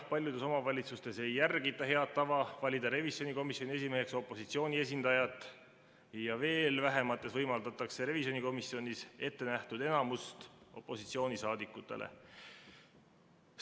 Paljudes omavalitsustes ei järgita head tava valida revisjonikomisjoni esimeheks opositsiooni esindaja ja veel vähemates võimaldatakse revisjonikomisjonis opositsioonisaadikutele ettenähtud enamust.